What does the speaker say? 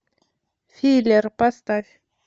филер поставь